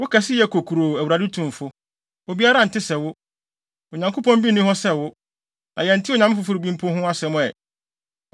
“Wo kɛseyɛ yɛ kokuroo, Awurade Tumfo! Obiara nte sɛ wo, Onyankopɔn bi nni hɔ sɛ wo, na yɛntee onyame foforo bi mpo ho asɛm ɛ!